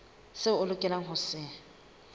seo a lokelang ho se